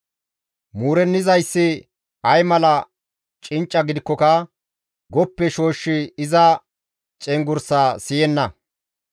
Muurennizayssi ay mala cincca gidikkoka goppe shooshshi iza cenggurssaa siyenna.